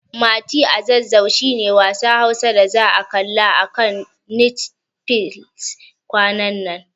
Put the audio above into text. Mati a Zazzau shi ne wasan Hausa da za'a kalla a kan Netfilis kwanan nan.